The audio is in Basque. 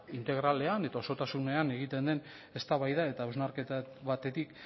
integralean eta osotasunean egiten den eztabaida eta hausnarketa batetik